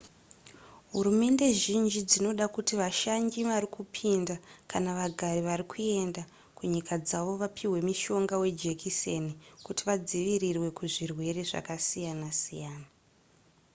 hurumende zhinji dzinoda kuti vashanyi varikupinda kana vagari varikuenda kunyika dzavo vapihwe mushonga wejekiseni kuti vadzivirirwe kuzvirwere zvasiyana siyana